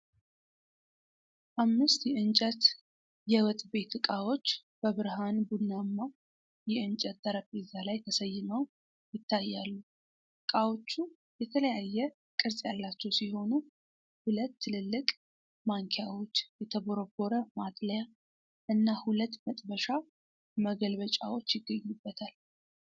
አምስት የእንጨት የወጥ ቤት እቃዎች በብርሃን ቡናማ የእንጨት ጠረጴዛ ላይ ተሰይመው ይታያሉ። እቃዎቹ የተለያየ ቅርጽ ያላቸው ሲሆኑ፤ ሁለት ትልልቅ ማንኪያዎች፣ የተቦረቦረ ማጥለያ እና ሁለት መጥበሻ መገልበጫዎች ይገኙበታል።